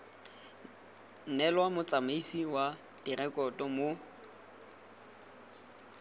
neelwa motsamaisi wa direkoto mo